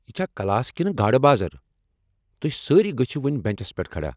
یہ چھا کلاس كِنہٕ گاڈٕ بازر؟ توہہِ سٲری گژھِو وۄنہِ بنچس پیٹھ کھڑا۔